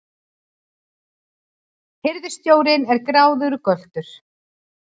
Hirðstjórinn er gráðugur göltur!